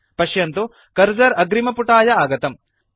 पश्यन्तु कर्सर अग्रिमपुटाय आगतम्